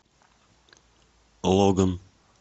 логан